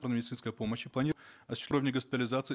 по медицинской помощи госпитализации